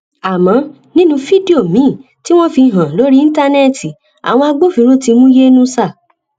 àmọ nínú fídíò míín tí wọn fi hàn lórí íńtánẹẹtì àwọn agbófinró ti mú yẹnusá